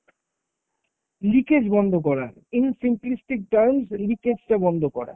leakage বন্ধ করা, in simplistic terms leakage টা বন্ধ করা।